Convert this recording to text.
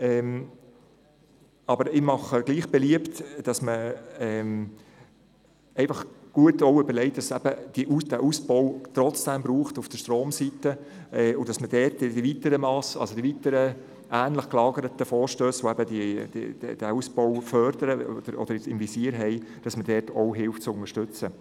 Ich mache gleichwohl beliebt, sich gut zu überlegen, dass es den Ausbau auf der Stromseite trotzdem braucht, und dass man mithilft, die ähnlich gelagerten Vorstösse, die den Ausbau im Visier haben und fördern, zu unterstützen.